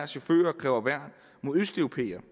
chauffører kræver værn imod østeuropæere